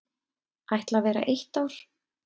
Ætla vera eitt ár.